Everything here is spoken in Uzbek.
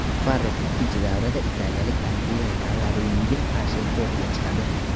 Farrux ikkinchi davrada italiyalik Andrea Kollariniga qarshi kortga chiqadi.